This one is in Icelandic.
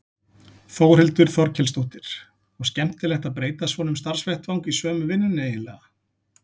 Þórhildur Þorkelsdóttir: Og skemmtilegt að breyta svona um starfsvettvang í sömu vinnunni eiginlega?